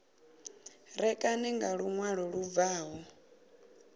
ṋekane nga luṅwalo lu bvaho